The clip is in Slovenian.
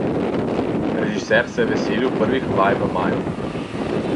Režiser se je veselil prvih vaj v maju.